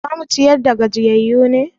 Za mu ciyar da gajiyayyu ne?